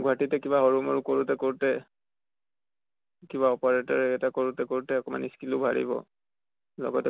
গুৱাহাটীতে কিবা সৰু মৰু কৰোঁতে কৰোঁতে কিবা operator এটা কৰোঁতে কৰোঁতে অকমান skill ও বাঢ়িব। লগতে